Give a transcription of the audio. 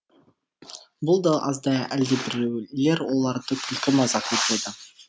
бұл да аздай әлдебіреулер оларды күлкі мазақ етеді